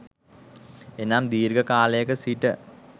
එනම් දීර්ඝ කාලයක සිට